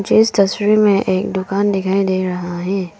मुझे इस तस्वीर में एक दुकान दिखाई दे रहा है।